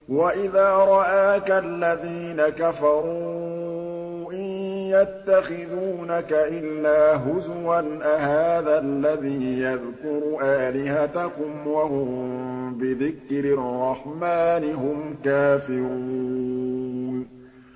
وَإِذَا رَآكَ الَّذِينَ كَفَرُوا إِن يَتَّخِذُونَكَ إِلَّا هُزُوًا أَهَٰذَا الَّذِي يَذْكُرُ آلِهَتَكُمْ وَهُم بِذِكْرِ الرَّحْمَٰنِ هُمْ كَافِرُونَ